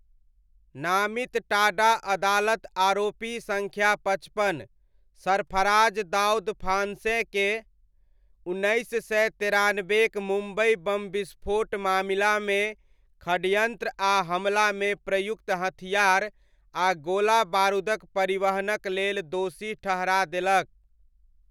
नामित टाडा अदालत आरोपी सङ्ख्या पचपन, सरफराज दाउद फांसेकेँ उन्नैस सय तेरानबेक मुम्बइ बम विस्फोट मामिलामे षड्यन्त्र आ हमलामे प्रयुक्त हथियार आ गोला बारूदक परिवहनक लेल दोषी ठहरा देलक।